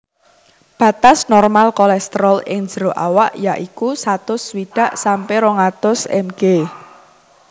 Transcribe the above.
Batas normal kolesterol ing jero awak ya iku satus swidak sampe rong atus mg